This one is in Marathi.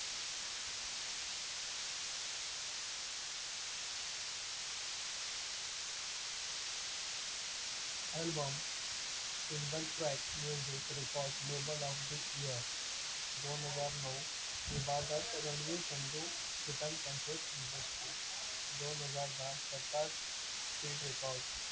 album single track music record label of the year दोनहजार नऊ रणवीर सिंधु industry दोन हजार दहा speed record